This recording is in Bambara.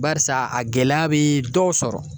Barisa a gɛlɛya be dɔw sɔrɔ